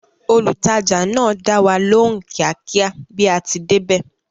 Olùtajà náà dáwa lóhùn kíákíá bí a ti débẹ̀